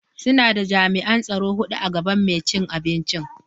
Suna da jami'an tsaro hudu a gaban mai cin abinci.